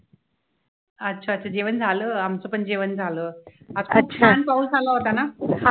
अच्छा अच्छा जेवण झालं, आमचं पण जेवण झालं. आज किती छान पाऊस आला होता ना